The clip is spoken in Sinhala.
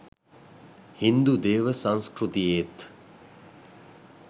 හින්දු දේව සංස්කෘතියේත්